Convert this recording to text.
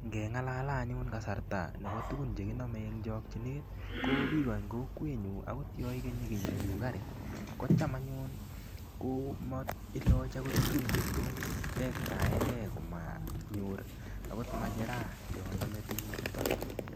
Ngengalale anyun kasarta nebo tukun chekinomei eng chokchinet ko biko eng kokwenyu akot yo ikenyi kiy neu kari kocham anyun komailochi tukun chetos tektaeke manyor akot majera yo nome tukuchuto